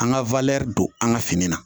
An ka don an ka fini na